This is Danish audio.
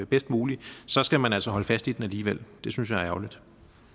bedst mulige så skal man altså holde fast i den alligevel det synes jeg er ærgerligt